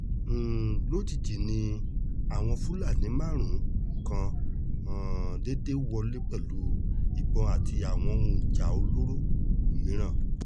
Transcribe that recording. um lójijì ni àwọn fúlàní márú-ún kan um déédé wọlé pẹ̀lú ìbọn àti àwọn òun ìjà olóró mìíràn